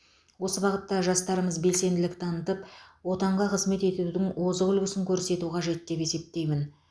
осы бағытта жастарымыз белсенділік танытып отанға қызмет етудің озық үлгісін көрсету қажет деп есептеймін